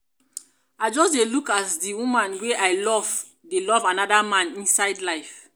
i just dey look as di woman wey i love dey love anoda man inside life.